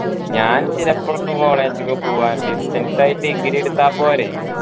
ഞാൻ ചിലപ്പോ college ക്കു പോകാൻ distance ആയി degree എടുത്ത പോരെ